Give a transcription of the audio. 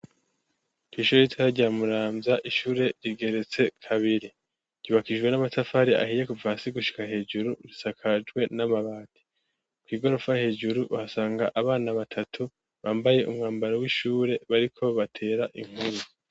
Kw'ishure ritoya rya Muramvya, ishure rigeretse kabiri, ryubakishijwe n'amatafari ahiye kuva hasi gushika hejuru, risakajwe n'amabati, kw'igorofa hejuru uhasanga abana batatu bambaye umwambaro w'ishure bariko batera inkuru.